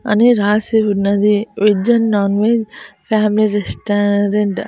అని రాసి ఉన్నది veg and non veg family restaurant .